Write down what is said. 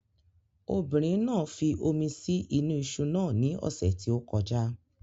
Obìnrin náà fi omi sí inú iṣu náà ní ọ̀sẹ̀ tí ó kọjá